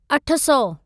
अठ सौ